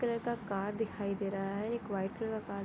colour का car दिखाई दे रहा है एक व्हाइट कलर कार --